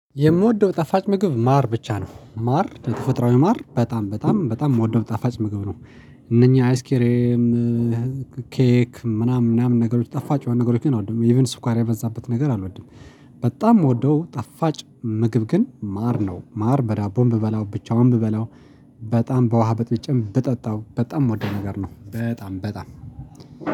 የምወደው ጠፋጭ ምግብ ማር ብቻ ነው ማር የተፈጥሮዊ ማር በጣም በጣም በጣም እምወደው ጣፋጭ ምግብ ነው። እነኚህ አይስኬሬም ኬክ ምናምን ምናምን ነገሮች ጠፋጭ የሆኑ ነገሮችን አልወድም ኢቭን ሰኳር የመዛበት ነገር አልወድም። በጣም እምወደው ጣፋጭ ምግብ ግን ማር ነው ማር በዳቦም ብበላው ብቻውንም ብበላው። በጣም በዉሀ በጥብቼም በጠጣው እምወደው ነገር ነው በጣም በጣም